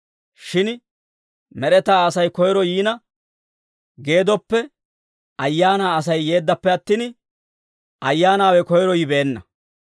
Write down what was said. Shin med'etaa Asay koyro yiina, geeddoppe ayaanaa Asay yeeddappe attin, ayyaanaawe koyro yibeenna.